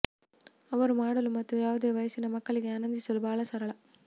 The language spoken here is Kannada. ಅವರು ಮಾಡಲು ಮತ್ತು ಯಾವುದೇ ವಯಸ್ಸಿನ ಮಕ್ಕಳಿಗೆ ಆನಂದಿಸಲು ಬಹಳ ಸರಳ